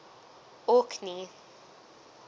orkney